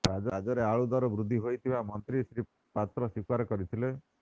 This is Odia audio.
ରାଜ୍ୟରେ ଆଳୁ ଦର ବୃଦ୍ଧି ହୋଇଥିବା ମନ୍ତ୍ରୀ ଶ୍ରୀ ପାତ୍ର ସ୍ୱୀକାର କରିଥିଲେ